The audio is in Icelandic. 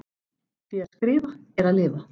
Því að skrifa er að lifa.